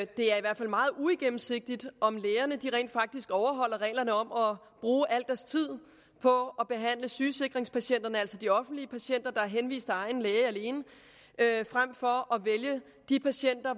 det det er i hvert fald meget uigennemsigtigt om lægerne rent faktisk overholder reglerne om at bruge al deres tid på at behandle sygesikringspatienterne altså de offentlige patienter der er henvist af egen læge alene frem for at vælge de patienter